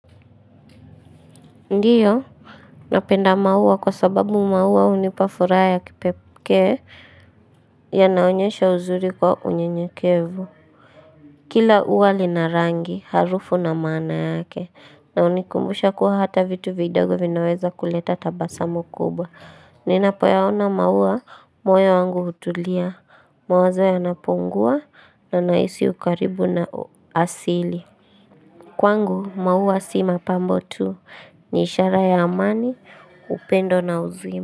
Ndiyo, napenda maua kwa sababu maua hunipa furaha ya kipekee yanaonyesha uzuri kwa unyenyekevu. Kila ua lina rangi, harufu na maana yake, na hunikumbusha kuwa hata vitu vidogo vinaweza kuleta tabasamu kubwa. Ninapoyaona maua, moyo wangu hutulia, mawazo yanapungua na nahisi ukaribu na asili. Kwangu, maua si mapambo tu. Ni ishara ya amani, upendo na uzima.